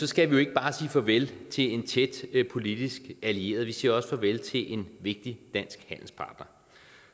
skal vi ikke bare sige farvel til en tæt politisk allieret vi skal også sige farvel til en vigtig dansk handelspartner